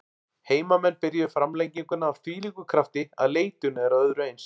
Heimamenn byrjuðu framlenginguna af þvílíkum krafti að leitun er að öðru eins.